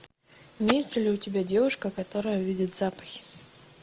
имеется ли у тебя девушка которая видит запахи